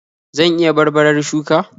Zan iya barbarar shuka?